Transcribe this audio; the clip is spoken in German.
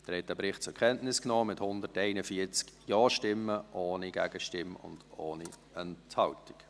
Sie haben den Bericht mit 141 Ja-Stimmen zur Kenntnis genommen, ohne Gegenstimme und ohne Enthaltung.